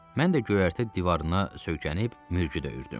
Mən də göyərtə divarına söykənib mürgü dəyirtdım.